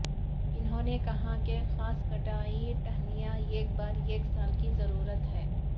انہوں نے کہا کہ خاص کٹائی ٹہنیاں ایک بار ایک سال کی ضرورت ہے